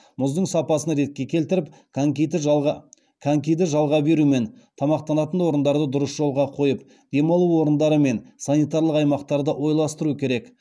мұздың сапасын ретке келтіріп конькиді жалға беру мен тамақтанатын орындарды дұрыс жолға қойып демалу орындары мен санитарлық аймақтарды ойластыру керек